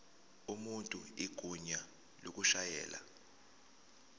umuntu igunya lokushayela